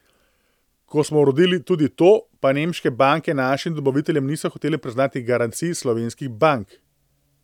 Ko smo uredili tudi to, pa nemške banke našim dobaviteljem niso hotele priznati garancij slovenskih bank ...